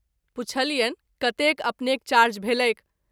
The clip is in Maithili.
पुछलियनि कतेक अपनेक चार्ज भेलैक।